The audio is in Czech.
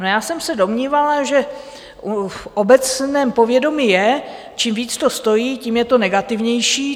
No, já jsem se domnívala, že v obecném povědomí je, čím více to stojí, tím je to negativnější.